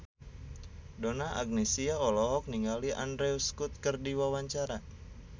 Donna Agnesia olohok ningali Andrew Scott keur diwawancara